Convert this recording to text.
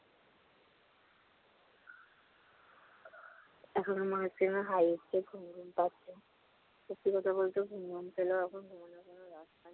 এখন আমার কেন হায় উঠছে, ঘুমঘুম পাচ্ছে। সত্যি কথা বলতে ঘুমঘুম পেলেও এখন ঘুম আসবে না।